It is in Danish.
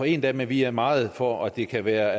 en dag men vi er meget for at det kan være